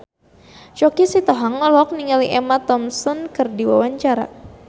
Choky Sitohang olohok ningali Emma Thompson keur diwawancara